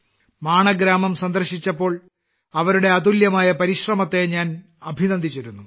മാണ ഗ്രാമം സന്ദർശിച്ചപ്പോൾ അവരുടെ അതുല്യമായ പരിശ്രമത്തെ ഞാൻ അഭിനന്ദിച്ചിരുന്നു